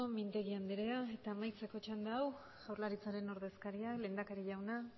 mintegi andrea eta amaitzeko txanda hau jaurlaritzaren ordezkaria lehendakari jauna